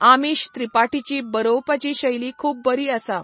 आमीश त्रिपाटीची बरोवपाची शैली खूब बरी आसा.